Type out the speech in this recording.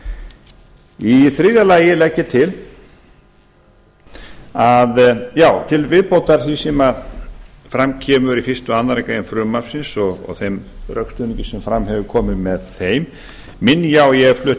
í þriðja lagi legg ég til já til viðbótar því sem fram kemur í fyrsta og aðra grein frumvarpsins og þeim rökstuðningi sem fram hefur komið með þeim minni ég á að ég